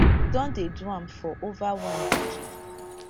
we don dey do am for ova one decade